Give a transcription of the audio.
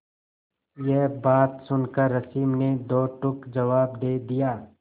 यह बात सुनकर रश्मि ने दो टूक जवाब दे दिया